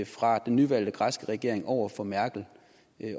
fra den nyvalgte græske regering over for merkel